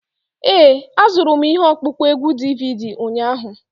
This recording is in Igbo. Ee, azụrụm ihe ọkpụkpọ égwù DVD ụnyahụ.